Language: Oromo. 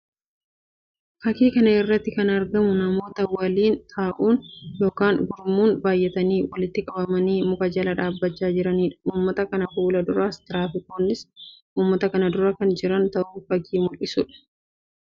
Fakkii kana irratti kan argamu namoota waliin ta'uun yookiin gurmuun baayyatanii walitti qabamanii muka jala dhaabbachaa jiranii dha. Uummata kana fuula duras tiraafikoonnis uummata kan dura kan jiran ta'uu fakkii mul'isuu dha.